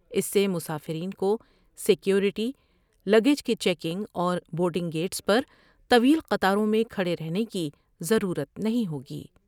اس سے مسافرین کو سیکوریٹی ، لگیج کی چیکنگ اور بورڈ نگ گئٹس پر طویل قطاروں میں کھڑے رہنے کی ضرورت نہیں ہوگی ۔